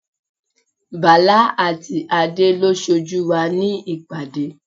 Bala àti Adé lo sójú wa ní ìpàdé.